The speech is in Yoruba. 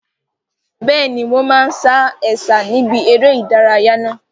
Bẹ́ẹ̀ni, wọn máa sa Ẹ̀sà níbi eré ìdárayá náà.